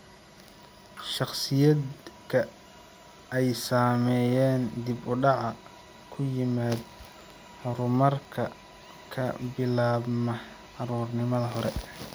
Shakhsiyaadka ay saameeyeen dib-u-dhac ku yimid horumarka ka bilaabma carruurnimada hore.